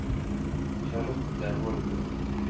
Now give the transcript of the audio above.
Charlotte Holmen